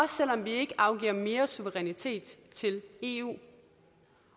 selv om vi ikke afgiver mere suverænitet til eu